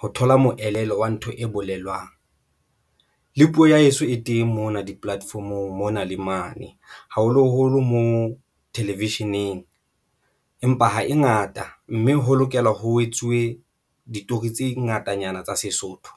ho thola moelelo wa ntho e bolelwang le puo ya heso e teng mona di-platform-ong mona le mane, haholoholo moo television-eng, empa ha e ngata mme ho lokela ho etsuwe ditori tse ngatanyana tsa Sesotho.